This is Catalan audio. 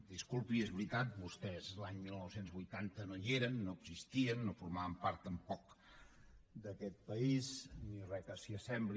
disculpi és veritat vostès l’any dinou vuitanta no hi eren no existien no formaven part tampoc d’aquest país ni res que s’hi assembli